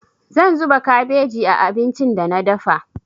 Zan zuba kabeji a abincin da na dafa.